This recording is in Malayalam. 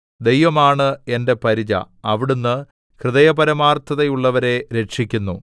ദൈവമാണ് എന്റെ പരിച അവിടുന്ന് ഹൃദയപരമാർത്ഥതയുള്ളവരെ രക്ഷിക്കുന്നു